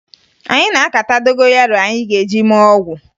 Anyị na-akata dogoyaro anyị ga-eji mee ọgwụ